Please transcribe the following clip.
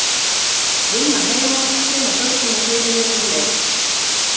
Vinna heima, sinna börnum og heimili um leið.